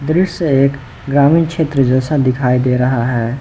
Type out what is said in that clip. दृश्य एक ग्रामीण क्षेत्र जैसा दिखाई दे रहा है।